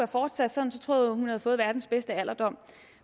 fortsat sådan tror jeg hun havde fået verdens bedste alderdom